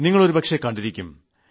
നിങ്ങൾ ഒരുപക്ഷേ കണ്ടിരിക്കാം